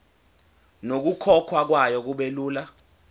nokukhokhwa kwayo kubelula